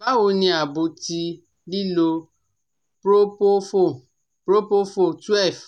Bawo ni aabo ti lilo Propofol Propofol twelve